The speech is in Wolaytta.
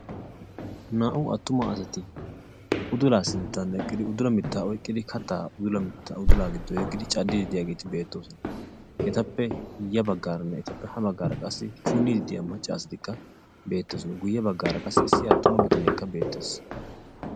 Naa'u attuma asati udulaa sinttan eqqidi udula mittaa oyqqidi kattaa mittaa udulaa giddo yeggidi caddiiddi diyageeti beettoosona. Etappe ya baggaaranne etappe ha baggaara qassi issi punniiddi diya macca asati beettoosona guyye baggaara qassi Issi attuma bitaneekka beettees.